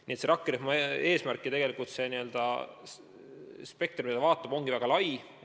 Nii et selle rakkerühma spekter, mida ta vaatab, ongi väga lai.